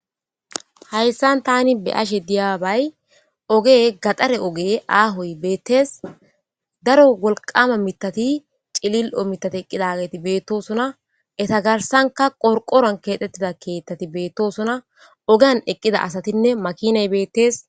hayssan tani be'ashe diyaabay oge gaxare oge aahoy beettees daro wolqama mitati cilil7o mitati eqqidagati beettosona eta garsanka qorqoran keexxettida keeththati beettosona ogan eqqida asatinne makinay beettees